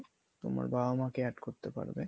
বা আমাকে add করতে পারবে